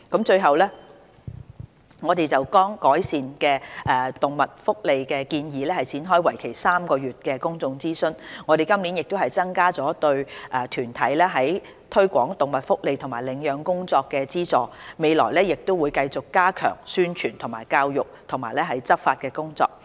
最後，我們剛就改善動物福利的建議展開為期3個月的公眾諮詢，我們今年亦增加了對團體在推廣動物福利和領養工作的資助，未來亦會繼續加強宣傳教育及執法的工作。